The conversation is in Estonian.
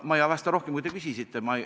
Ma ei vasta rohkem, kui te küsisite.